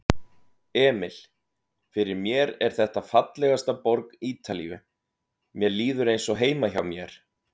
Emil: Fyrir mér er þetta fallegasta borg Ítalíu, mér líður eins og heima hjá mér.